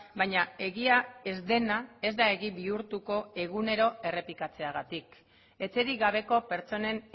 baina egia ez dena ez da egi bihurtuko egunero errepikatzeagatik etxerik gabeko pertsonen